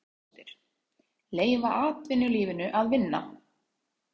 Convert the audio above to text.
Jóhanna Margrét Gísladóttir: Leyfa atvinnulífinu að vinna?